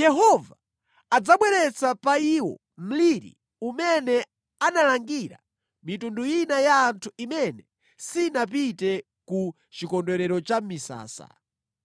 Yehova adzabweretsa pa iwo mliri umene analangira mitundu ina ya anthu imene sinapite ku Chikondwerero cha Misasa.